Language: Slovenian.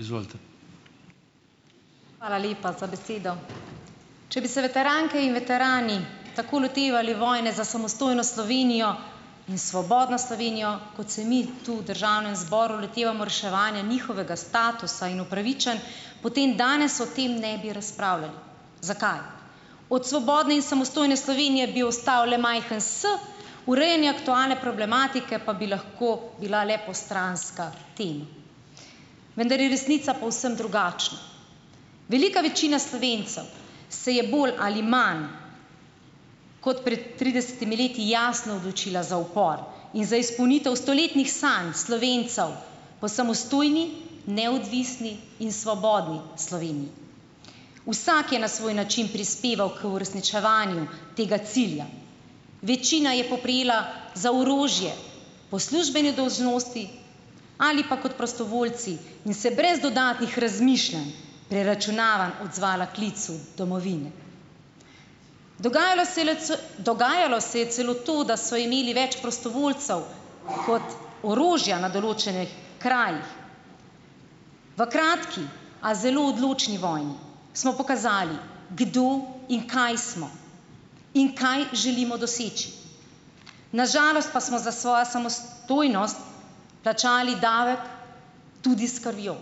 Izvolite. Hvala lepa za besedo, če bi se veteranke in veterani tako lotevali vojne za samostojno Slovenijo in svobodno Slovenijo, kot se mi tu v državnem zboru lotevamo reševanja njihovega statusa in upravičenj, potem danes o tem ne bi razpravljali, zakaj od svobodne in samostojne Slovenije bi ostal le majhen s, urejanje aktualne problematike pa bi lahko bila le postranska tema, vendar je resnica povsem drugačna, velika večina Slovencev se je bolj ali manj kot pred tridesetimi leti jasno odločila za upor in za izpolnitev stoletnih sanj Slovencev po samostojni neodvisni in svobodni Sloveniji. Vsak je na svoj način prispeval k uresničevanju tega cilja, večina je poprijela za orožje po službeni dolžnosti ali pa kot prostovoljci in se brez dodatnih razmišljanj preračunavanj odzvala klicu domovine, dogajalo se je le dogajalo se je celo to, da so imeli več prostovoljcev kot orožja na določenih krajih, v kratki, a zelo odločni vojni smo pokazali, kdo in kaj smo in kaj želimo doseči, na žalost pa smo za svojo samostojnost plačali davek tudi s krvjo,